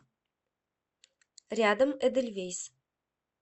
рядом эдельвейс